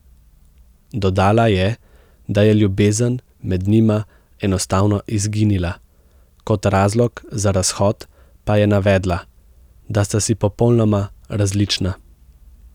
Dodala je, da je ljubezen med njima enostavno izginila, kot razlog za razhod pa je navedla, da sta si popolnoma različna.